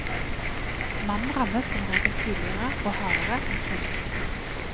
Mannen rammes som regel tidligere og hardere enn kvinnen.